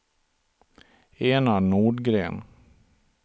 Enar Nordgren